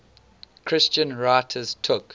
christian writers took